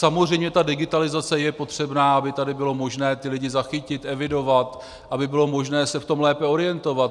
Samozřejmě ta digitalizace je potřebná, aby tady bylo možné ty lidi zachytit, evidovat, aby bylo možné se v tom lépe orientovat.